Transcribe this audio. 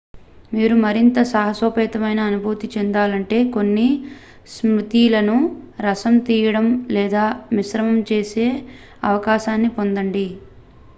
మీరు మరింత సాహసోపేత అనుభూతి చెందుతుంటే కొన్ని స్మూతీలను రసం తీయడం లేదా మిశ్రమం చేసే అవకాశాన్ని పొందండి